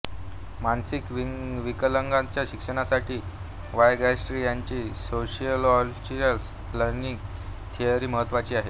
मानसिक विकलांगांच्या शिक्षणासाठी वायगॉट्स्की यांची सोशिओकल्चरल लर्निंग थिअरी महत्त्वाची आहे